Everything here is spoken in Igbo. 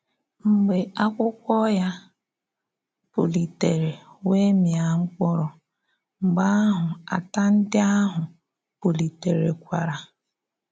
Mgbe ákwúkwó ya pù̀litèrè wèe mịa mkpụrụ́, mgbe àhụ̀ àtà ndí ahụ̀ pù̀litèrèkwàrà.